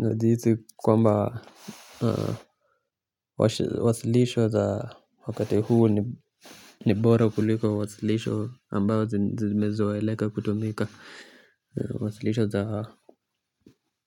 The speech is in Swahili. Na jihisi kwamba wa silisho za wakati huu nibora kuliko wa silisho ambao zimezoe leka kutumika. Wa silisho za